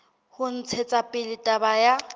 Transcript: ho ntshetsa pele taba ya